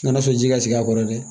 N'a sɔrɔ ji ka sigi a kɔrɔ dɛ